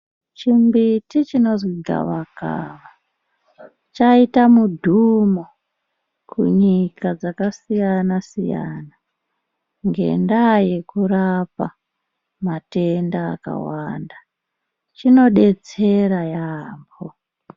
Chimbiti dzinozi gavakava chaita mudhumo kunyika dzakasiyana siyana ngenda yekurapa matenda akawanda. Chinodetsera yaambo.